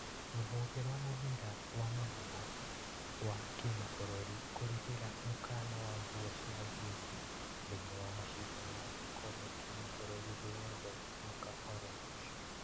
Rũhonge rwa mũbira wa magũrũ wa kĩmabũrũri kũrĩhĩra mũkana wa nguo cia njezi thĩinĩ wa wa macindano ma gĩkombe gĩa kĩmabũrũri thĩ yothe mwaka oro ũcio